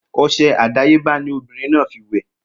Ose àdáyébá ni ọmọbìrin náà fi wè